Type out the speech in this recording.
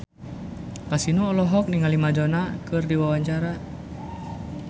Kasino olohok ningali Madonna keur diwawancara